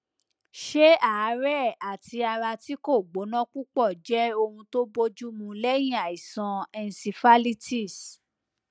ṣé àárẹ àti ara tí kò gbóná púpọ jẹ ohun tó bójúmu lẹyìn àìsàn encephalitis